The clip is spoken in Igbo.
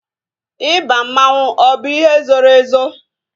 Ịba mmanwu ọ bụ ihe zoro ezo?